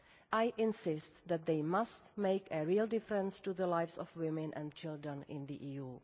I insist that they must make a real difference to the lives of women and children in the EU.